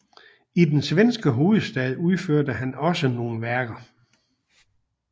I den svenske hovedstad udførte han også nogle værker